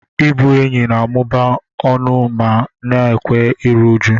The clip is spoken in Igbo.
Ịbụ enyi na-amụba ọṅụ ma na-ekewa iru újú.